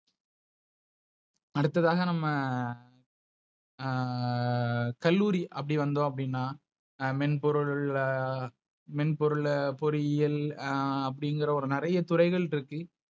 அடுத்ததாக நம்ம. ஆஹ் கல்லூரி அப்படி வந்தோ அப்டின்னா ஆஹ் மென்பொருள் ஆஹ் மென் பொருள பொறியில் ஆஹ் அப்படிங்குற ஒரு நெறைய துறைகள் இருக்கு.